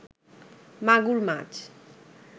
মাগুর মাছ